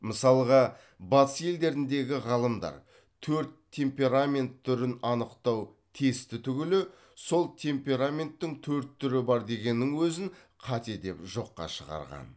мысалға батыс елдеріндегі ғалымдар төрт темперамент түрін анықтау тесті түгілі сол темпераменттің төрт түрі бар дегеннің өзін қате деп жоққа шығарған